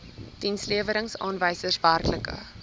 dienslewerings aanwysers werklike